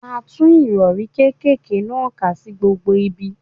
A tú Ìrọ̀rí kékèké náà ká sí gbogbo ibi.